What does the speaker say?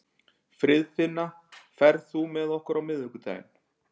Friðfinna, ferð þú með okkur á miðvikudaginn?